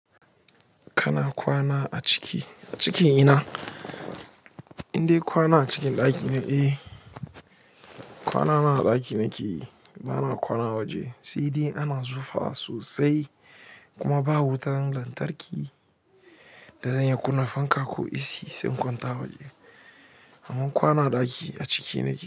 Kana kwana a ciki, a cikin ina? Indai kwana a cikin ɗaki ne? Eh, kwana ma a ɗaki nakeyi, ba na kwana a waje. Sai dai ana zufa sosai kuma ba wutan lantarki da zan yi kunna fanka ko AC sai in kwanta waje. Amman kwana a ɗaki, a ciki nake.